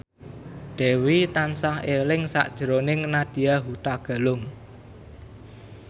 Dewi tansah eling sakjroning Nadya Hutagalung